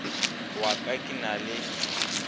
wa ka ke na le